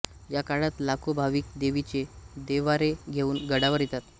या काळात लाखो भाविक देवीचे देव्हारे घेउन गडावर येतात